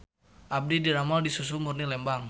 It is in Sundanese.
Abdi didamel di Susu Murni Lembang